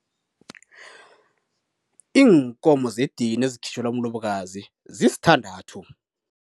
Iinkomo zedini ezikhitjhelwa umlobokazi zisthandathu.